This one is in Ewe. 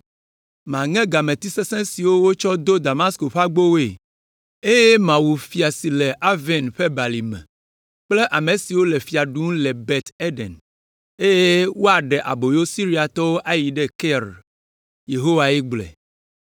Maŋe gameti sesẽ siwo wotsɔ do Damasko ƒe agbowoe, eye mawu fia si le Aven ƒe Balime, kple ame si le fia ɖum le Bet Eden, eye woaɖe aboyo Siriatɔwo ayi ɖe Kir.” Yehowae gblɔe.